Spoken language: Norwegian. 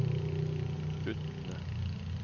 Utne